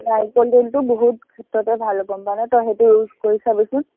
নাৰিকল তেলটো বহুত ক্ষেত্ৰতে ভাল হব, মানে তই সেইটো use কৰি চাবিচোন